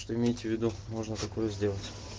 что имейте в виду можно такую сделать